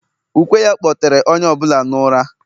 ukwe ya, kpọtere onye ọ bụla n’ụra